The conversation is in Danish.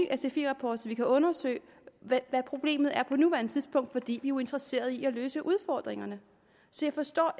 sfi rapport så vi kan undersøge hvad problemet er på nuværende tidspunkt fordi jo er interesserede i at løse udfordringerne så jeg forstår